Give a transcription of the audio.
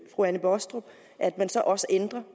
fru anne baastrup at man så også ændrer